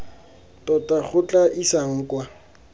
tota go tla isang kwa